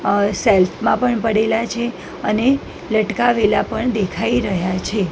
અ shelf માં પણ પડેલા છે અને લટકાવેલા પણ દેખાય રહ્યા છે.